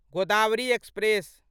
Godavari express